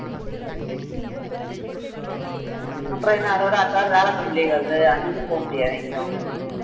அப்புறம் என்ன அதோட அடுத்த வாரம் வியாழக்கிழமை leave வருது அன்னைக்கும் போக முடியாது எங்கயும்